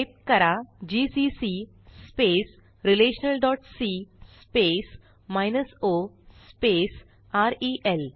type करा GCC relationalसी o rail